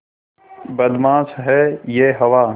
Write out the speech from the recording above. बदमाश है यह हवा